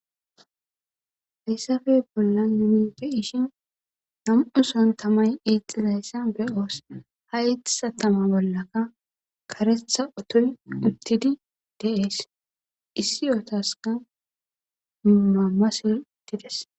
Hayssape bolan nuni be7ishin nam'u soon tamay eexxizayssa be'os. Haysa tama bolaka karetha ottoy uttidi de'es.essi ottaska mamasey de'es.